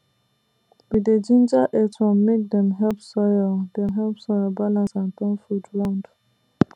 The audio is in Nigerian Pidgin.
we dey ginger earthworm make dem help soil dem help soil balance and turn food round